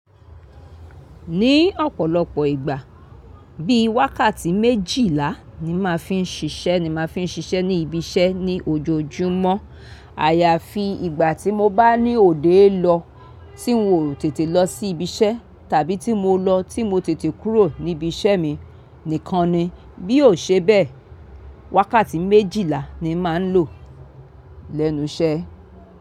Ní ọ̀pọ̀lọpọ̀ ìgbà, bí wákàtí méjìlá ni màá fiń ṣiṣẹ́ ni màá fiń ṣiṣẹ́ ní ibi iṣẹ́ ní ojoojúmọ́. Àyàfi ìgbà tí mo bá ní òde lọ tín n ò tètè lọ sí ibi iṣẹ́ tàbí tí mo lọ tí mo tètè kúrò níbi iṣẹ́ mi nìkan ni. Bí ò ṣe bẹ́ẹ̀, wákàtí méjìlá ni màá ń lò lẹ́nu iṣẹ́.